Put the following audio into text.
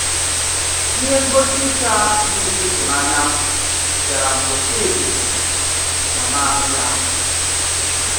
Ihe ngosi ike a dị ịtụnanya bịara mgbe Chidi nọ naanị ya.